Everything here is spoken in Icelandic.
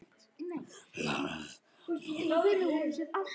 LÁRUS: Réttur er settur!